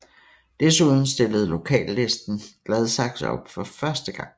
Desuden stillede Lokallisten Gladsaxe op for første gang